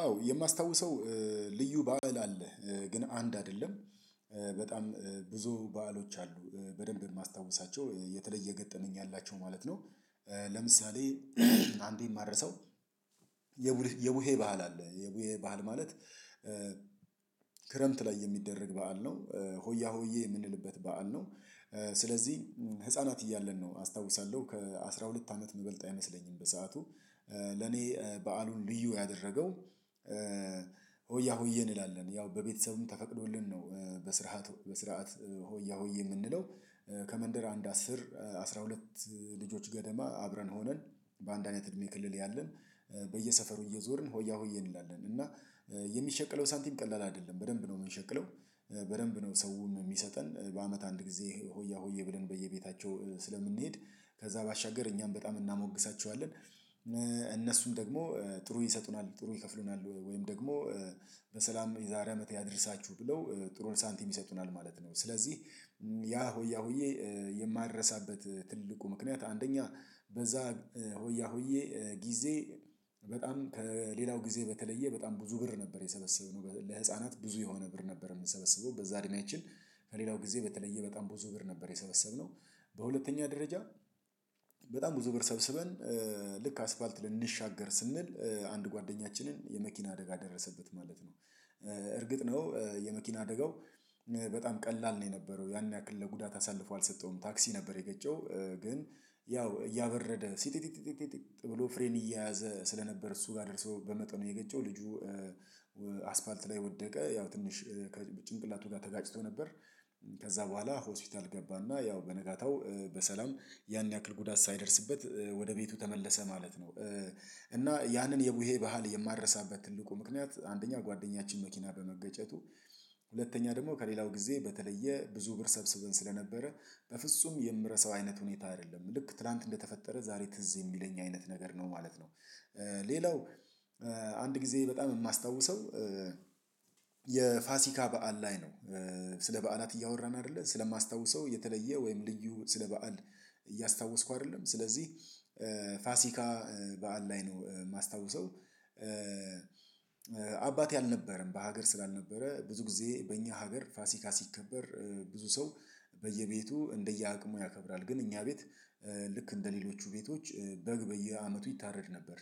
አዎ የማስታውሰው ልዩ ባእል አለ ግን አንድ አደለም በጣም ብዙ በዓሎች አሉ በደንብ ማስታውሳቸው የተለየ ገጠመኝ ያላቸው ማለት ነው። ለምሳሌ አንዴ የማረሳው። የቡሄ ባህል አለ የቡሄ ባህል ማለት ክረምት ላይ የሚደረግ በዓል ነው። ሆያ ሆዬ የምንልበት በዓል ነው። ስለዚህ ህፃናት እያለን ነው አስታውሳለሁ ከአስራ ሁለት አመት ሚበልጥ አይመስለኝም። በሰአቱ ለኔ በዓሉን ልዩ ያደረገው ሆያ ሆዬ እንላለን ያው በቤተሰቡም ተፈቅዶልን ነው በስርዓት በስርዓት ሆያ ሆየ ምንለው። ከመንደር አንድ አስር አስራ ሁለት ልጆች ገደማ አብረን ሆነን በአንድ አይነት እድሜ ክልል ያለን በየሰፈሩ እየዞርን ሆያ ሆዬ እንላለን። እና የሚሸቅለው ሳንቲም ቀላል አይደለም በደንብ ነው የምንሸቅለው። በደንብ ነው ሰውም ሚሰጠን በአመት አንድ ጊዜ ሆያ ሆዬ ብለን በየቤታቸው ስለምንሄድ ከዛ ባሻገር እኛም በጣም እናሞግሳቸዋለን። እነሱም ደግሞ ጥሩ ይሰጡናል ጥሩ ይከፍሉናል ወይም ደግሞ በሰላም የዛሬ አመት ያድርሳችሁ ብለው ጥሩ ሳንቲም ይሰጡናል ማለት ነው። ስለዚህ ያ ሆያ ሆዬ የማረሳበት ትልቁ ምክንያት አንደኛ በዛ ሆያ ሆዬ ጊዜ በጣም ከሌላው ጊዜ በተለየ በጣም ብዙ ብር ነበር የሰበሰብነው ለህፃናት ብዙ የሆነ ብር ነበር የምንሰበስበው በዛ እድሜያችን ከሌላው ጊዜ በተለየ በጣም ብዙ ብር ነበር የሰበሰብነው። በሁለተኛ ደረጃ በጣም ብዙ ብር ሰብስበን ልክ አስፋልት ልንሻገር ስንል አንድ ጓደኛችንን የመኪና አደጋ ደረሰበት ማለት ነው። እርግጥ ነው የመኪና አደጋው በጣም ቀላል ነው የነበረው ያን ያክል ለጉዳት አሳልፎ አልሰጠውም ታክሲ ነበር የገጨው ግን ያው እያበረደ ሲጢጢጢጢጢጢ ብሎ ፍሬን እየያዘ ስለነበር እሱ ጋር ደርሶ በመጠኑ የገጨው ልጁ። አስፋልት ላይ ወደቀ ያው ትንሽ ጭንቅላቱ ጋር ተጋጭቶ ነበር። ከዛ በኋላ ሆስፒታል ገባና ያው በነጋታው በሰላም ያን ያክል ጉዳት ሳይደርስበት ወደ ቤቱ ተመለሰ ማለት ነው። እና ያንን የቡሄ ባህል የማረሳበት ትልቁ ምክንያት አንደኛ ጓደኛችን መኪና በመገጨቱ ሁለተኛ ደግሞ ከሌላው ጊዜ በተለየ ብዙ ብር ሰብስበን ስለነበረ በፍጹም የምረሳው አይነት ሁኔታ አይደለም ልክ ትላንት እንደተፈጠረ ዛሬ ትዝ የሚለኝ አይነት ነገር ነው ማለት ነው። ሌላው አንድ ጊዜ በጣም የማስታውሰው የፋሲካ በዓል ላይ ነው። ስለ በዓላት እያወራን አይደለ ስለማስታውሰው የተለየ ወይም ልዩ ስለ በዓል እያስታወስኩ አይደለም ስለዚህ ፋሲካ በዓል ላይ ነው ማስታውሰው አባቴ አልነበረም በሀገር ስላልነበረ ብዙ ጊዜ በእኛ ሀገር ፋሲካ ሲከበር ብዙ ሰው በየቤቱ እንደየአቅሙ ያከብራል ግን እኛ ቤት ልክ እንደሌሎቹ ቤቶች በግ በየአመቱ ይታረድ ነበር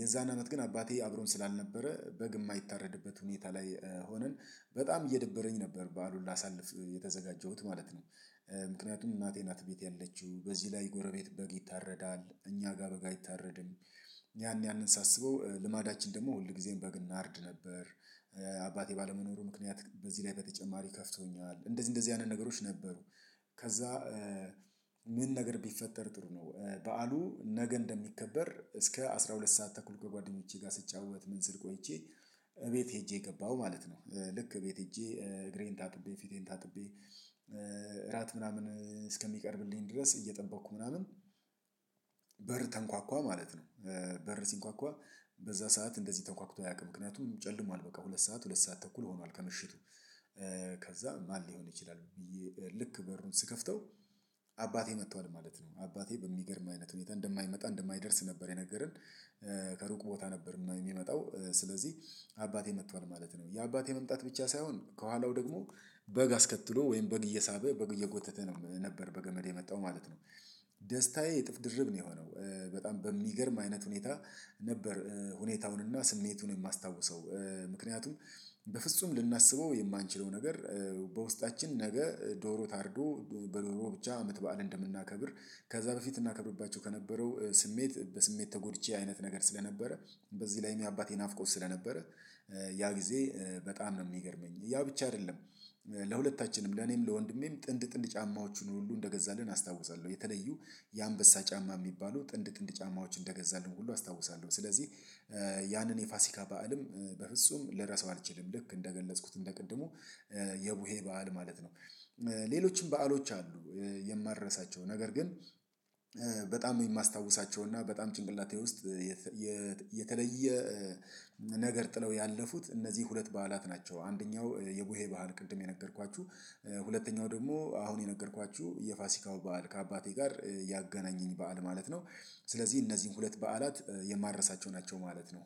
የዛን አመት ግን አባቴ አብሮን ስላልነበረ በግ ማይታረድበት ሁኔታ ላይ ሆነን በጣም እየደበረኝ ነበር በዓሉ ላሳልፍ የተዘጋጀሁት ማለት ነው። ምክንያቱም እናቴ ናት ቤት ያለችው በዚህ ላይ ጎረቤት በግ ይታረዳል እኛ ጋር በግ አይታረድም። ያን ያንን ሳስበው ልማዳችን ደግሞ ሁል ሁልጊዜም በግ እናርድ ነበር። አባቴ ባለመኖሩ ምክንያት በዚህ ላይ በተጨማሪ ከፍቶኛል እንደዚህ እንደዚህ አይነት ነገሮች ነበሩ። ከዛ ምን ነገር ቢፈጠር ጥሩ ነው በዓሉ ነገ እንደሚከበር እስከ አስራ ሁለት ሰዓት ተኩል ከጓደኞቼ ጋር ስጫወት ምን ስል ቆይቼ እቤት ሄጄ ገባሁ ማለት ነው። ልክ እቤት ሄጄ እግሬን ታጥቤ ፊቴን ታጥቤ እራት ምናምን እስከሚቀርብልኝ ድረስ እየጠበቅኩ ምናምን በር ተንኳኳ ማለት ነው። በር ሲንኳኳ በዛ ሰዓት እንደዚህ ተንኳክቶ አያውቅም ምክንያቱም ጨልሟል በቃ ሁለት ሰዓት ሁለት ሰዓት ተኩል ሆኗል። ከምሽቱ ከዛ ማን ሊሆን ይችላል ብዬ ልክ በሩን ስከፍተው አባቴ መጥቷል ማለት ነው አባቴ በሚገርም አይነት ሁኔታ እንደማይመጣ እንደማይደርስ ነበር የነገረን። ከሩቅ ቦታ ነበር የሚመጣው ስለዚህ አባቴ መጥቷል ማለት ነው የአባቴ መምጣት ብቻ ሳይሆን ከኋላው ደግሞ በግ አስከትሎ ወይም በግ እየሳበ በግ እየጎተተ ነው ነበር በገመድ የመጣው ማለት ነው። ደስታዬ እጥፍ ድርብ ነው የሆነው። በጣም በሚገርም አይነት ሁኔታ ነበር ሁኔታውንና ስሜቱን የማስታውሰው። ምክንያቱም በፍጹም ልናስበው የማንችለው ነገር በውስጣችን ነገ ዶሮ ታርዶ በዶሮ ብቻ አመት በዓል እንደምናከብር ከዛ በፊት እናከብርባቸው ከነበረው ስሜት በስሜት ተጎድቼ አይነት ነገር ስለነበረ በዚህ ላይም የአባቴ ናፍቆት ስለነበረ። ያ ጊዜ በጣም ነው የሚገርመኝ ያ ብቻ አይደለም። ለሁለታችንም ለኔም ለወንድሜም ጥንድ ጥንድ ጫማዎቹን ሁሉ እንደገዛልን አስታውሳለሁ የተለዩ የአንበሳ ጫማ የሚባሉ ጥንድ ጥንድ ጫማዎች እንደገዛልን ሁሉ አስታውሳለሁ። ስለዚህ ያንን የፋሲካ በዓልም በፍጹም ልረሳው አልችልም ልክ እንደገለጽኩት እንደ ቅድሙ የቡሄ በዓል ማለት ነው። ሌሎችም በዓሎች አሉ የማልረሳቸው ነገር ግን በጣም የማስታውሳቸው እና በጣም ጭንቅላቴ ውስጥ የተለየ ነገር ጥለው ያለፉት እነዚህ ሁለት በዓላት ናቸው። አንደኛው የቡሄ ባህል ቅድም የነገርኳችሁ። ሁለተኛው ደግሞ አሁን የነገርኳችሁ የፋሲካው በዓል ከአባቴ ጋር ያገናኘኝ በዓል ማለት ነው። ስለዚህ እነዚህን ሁለት በዓላት የማረሳቸው ናቸው ማለት ነው